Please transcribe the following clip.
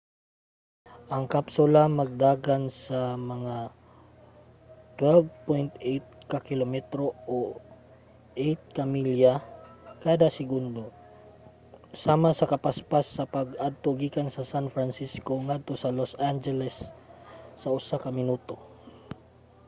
ang kapsula magdagan sa mga 12.8 ka kilometro o 8 ka milya kada segundo sama sa kapaspas sa pag-adto gikan sa san francisco ngadto sa los angeles sa usa ka minuto